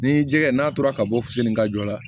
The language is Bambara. Ni jɛgɛ n'a tora ka bɔ finni ka jɔ la